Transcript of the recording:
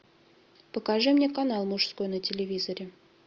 покажи мне канал мужской на телевизоре